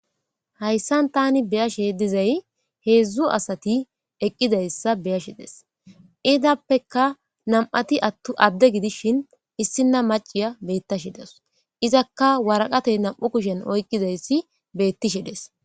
Hayissani tani be'ashe dizayi hedzu assati eqidayissa be'ashe de'ayisi. Izappekka nami'ati adde gidishini issina macciya betashe dawusi. Izakka wariqatte nam'u kusheni oyikidayisi betishe dessi.